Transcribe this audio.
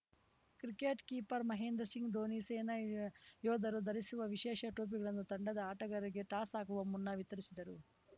cricket keeper Mahendra Singh Dhoni ಸೇನಾ ಯೋಧರು ಧರಿಸುವ ವಿಶೇಷ ಟೋಪಿಗಳನ್ನು ತಂಡದ ಆಟಗಾರರಿಗೆ ಟಾಸ್ ಹಾಕುವ ಮುನ್ನ ವಿತರಿಸಿದರು